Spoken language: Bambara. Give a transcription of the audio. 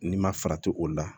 N'i ma farati o la